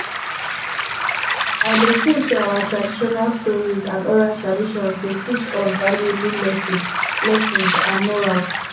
i dey think say our traditional stories and oral traditions dey teach us valuable lessons lessons and morals